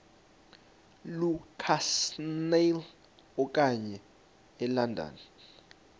lukasnail okuya elondon